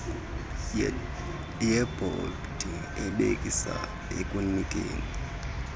yebhodi ebhekisa ekunikeni